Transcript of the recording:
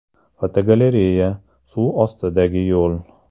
Fotogalereya: Suv ostidagi yo‘l.